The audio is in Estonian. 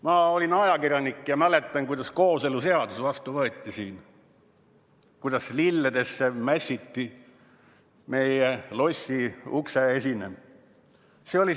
Ma olin ajakirjanik ja mäletan, kuidas kooseluseadus siin vastu võeti, kuidas siis meie lossi ukseesine lilledesse mässiti.